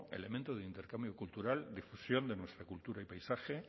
elemento de intercambio cultural de fusión de nuestra cultura y paisaje